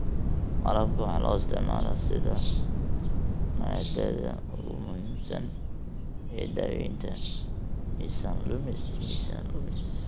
Malabka waxaa loo isticmaalaa sida maaddada ugu muhiimsan ee daaweynta miisaan lumis.